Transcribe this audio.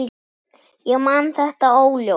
Ég man þetta óljóst.